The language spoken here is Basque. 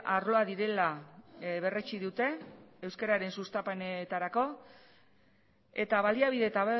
arloak direla berretsi dute euskararen sustapenerako eta baliabide eta